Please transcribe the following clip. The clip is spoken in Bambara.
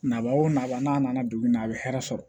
Nabaa o nabaa n'a nana dugu in na a bɛ hɛrɛ sɔrɔ